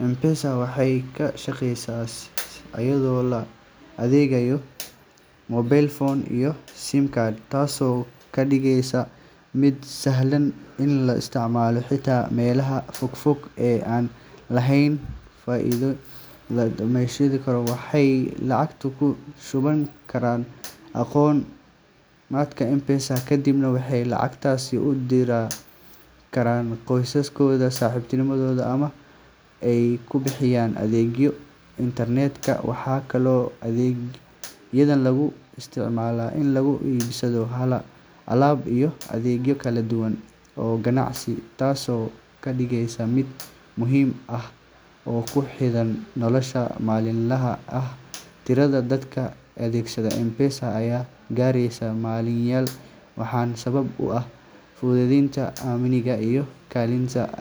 M-Pesa waxay ka shaqeysaa iyadoo la adeegsanayo mobile phone iyo SIM card, taasoo ka dhigaysa mid sahlan in la isticmaalo xitaa meelaha fogfog ee aan lahayn bangiyo. Isticmaaleyaashu waxay lacag ku shuban karaan akoonkooda M-Pesa, kadibna waxay lacagtaas u diri karaan qoysaskooda, saaxiibadooda, ama ay ku bixiyaan adeegyo kala duwan sida biilasha korontada, biyaha, iyo internetka. Waxaa kaloo adeeggan lagu isticmaalaa in lagu iibsado alaab iyo adeegyo kala duwan oo ganacsi, taasoo ka dhigaysa mid muhiim ah oo ku xidhan nolosha maalinlaha ah. Tirada dadka adeegsada M-Pesa ayaa gaaraysa malaayiin, waxaana sabab u ah fududeynta, amniga, iyo helitaanka.